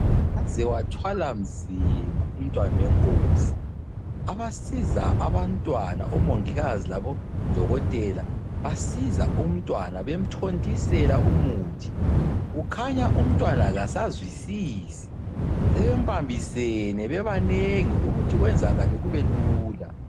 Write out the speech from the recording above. Waze wathwala nzima umntwana wenkosi, abasiza abantwana omongikazi labodokotela basiza umntwana bemthontisela umuthi, kukhanya umntwana kasazwisisi, sebembambisene bebanengi ukuthi kwenzakale kubelula.